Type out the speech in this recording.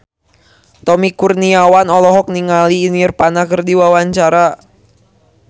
Tommy Kurniawan olohok ningali Nirvana keur diwawancara